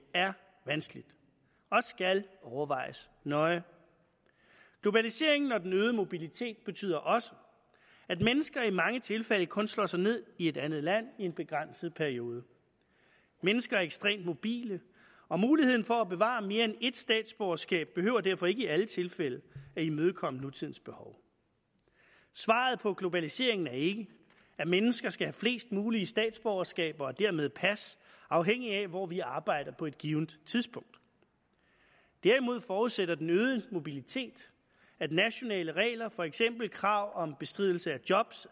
er vanskeligt og skal overvejes nøje globaliseringen og den øgede mobilitet betyder også at mennesker i mange tilfælde kun slår sig ned i et andet land i en begrænset periode mennesker er ekstremt mobile og muligheden for at bevare mere end et statsborgerskab behøver derfor ikke i alle tilfælde at imødekomme nutidens behov svaret på globaliseringen er ikke at mennesker skal have flest mulige statsborgerskaber og dermed pas afhængigt af hvor de arbejder på et givent tidspunkt derimod forudsætter den øgede mobilitet at nationale regler for eksempel krav om bestridelse af job